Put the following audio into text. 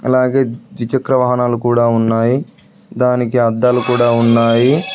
అలాగే ద్విచక్ర వాహనాలు కూడా ఉన్నాయి దానికి అద్దాలు కూడా ఉన్నాయి.